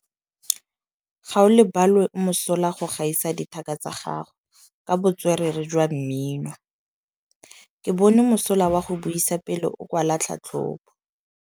Gaolebalwe o mosola go gaisa dithaka tsa gagwe ka botswerere jwa mmino. Ke bone mosola wa go buisa pele o kwala tlhatlhobô.